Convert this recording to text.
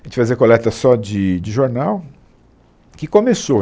A gente fazia coleta só de de jornal, que começou.